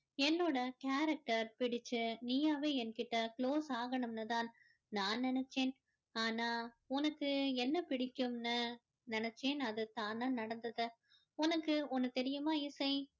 என்னோட character பிடிச்சி நீயாவே என் கிட்ட close ஆகணும்னு தான் நான் நினைச்சேன் ஆனா உனக்கு என்ன பிடிக்கும்னு நினைச்சேன் அது தானா நடந்தது உனக்கு ஒன்னு தெரியுமா இசை